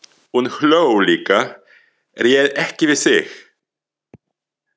Hún hló líka, réð ekki við sig.